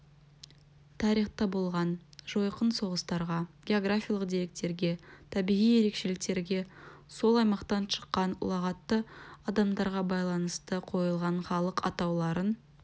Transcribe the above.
тарихта болған жойқын соғыстарға географиялық деректерге табиғи ерекшеліктерге сол аймақтан шыққан ұлағатты адамдарға байланысты қойылған халық атауларын